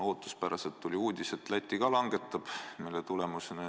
Ootuspäraselt tuli uudis, et Läti ka langetab seda aktsiisi.